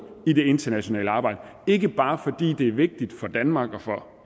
i det internationale arbejde ikke bare fordi det er vigtigt for danmark og for